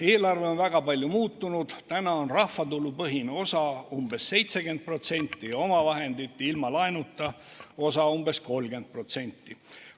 Eelarve on väga palju muutunud, rahvatulupõhine osa on umbes 70% ja omavahendite osa ilma laenuta umbes 30%.